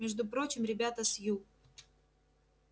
между прочим ребята с ю